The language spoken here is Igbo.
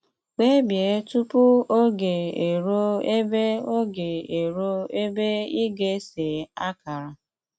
Kpebie tupu oge eruo ebe oge eruo ebe ị ga-ese akara.